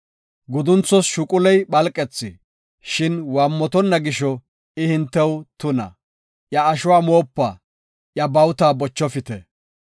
Gudunthos shuquley phalqethi, shin waammotonna gisho I hintew tuna. Iya ashuwa moopa; iya bawuta bochofite.